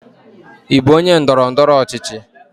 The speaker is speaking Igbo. Ị bụ onye ndọrọ ndọrọ ọchịchị?